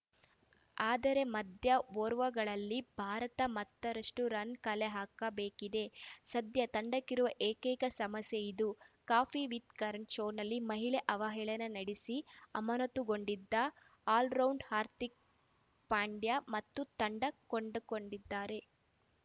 ಆದರೆ ಮಧ್ಯ ಓರ್ವ ಗಳಲ್ಲಿ ಭಾರತ ಮತ್ತಷ್ಟುರನ್‌ ಕಲೆಹಾಕಬೇಕಿದೆ ಸದ್ಯ ತಂಡಕ್ಕಿರುವ ಏಕೈಕ ಸಮಸ್ಯೆ ಇದು ಕಾಫಿ ವಿತ್‌ ಕರಣ್‌ ಶೋನಲ್ಲಿ ಮಹಿಳಾ ಅವಹೇಳನ ನಡೆಸಿ ಅಮಾನತುಗೊಂಡಿದ್ದ ಆಲ್ರೌಂಡರ್‌ ಹಾರ್ಥಿಕ್‌ ಪಾಂಡ್ಯ ಮತ್ತೆ ತಂಡ ಕೂಡಿಕೊಂಡಿದ್ದಾರೆ